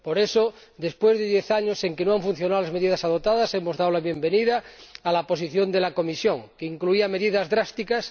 Por eso, después de diez años durante los que no han funcionado las medidas adoptadas, hemos dado la bienvenida a la posición de la Comisión, que incluía medidas drásticas.